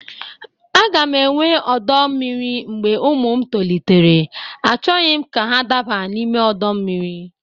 A ga m enwe ọdọ mmiri mgbe ụmụ m tolitere; Achọghị m ka ha daba n'ime ọdọ mmiri.